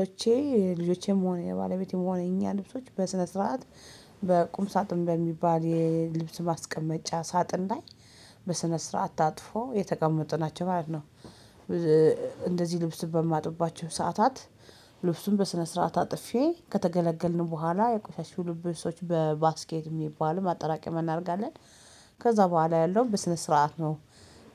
ልጆቼ የልጆቼም ሆነ የባለቤቴም ሆነ የኛ ልብሶች በስነ ስርዓት በቁም ሳጥን በሚባል የልብስ ማስቀመጫ ሳጥን ላይ በስነ ስርዓት ታጥፎ የተቀመጡ ናቸው ማለት ነው። እንደዚህ ልብስ በማጥባቸው ሰዓታት ልብሱን በስነ ስርዓት አጥፌ ከተገለገልን በኋላ የቆሸሹ ልብሶች በባስኬት የሚባሉ ማጠራቀሚያ እናደርጋለን። ከዛ በኋላ ያለውን በስነ ስርዓት ነው።